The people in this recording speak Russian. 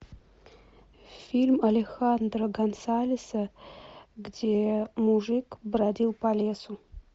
фильм алехандро гонсалеса где мужик бродил по лесу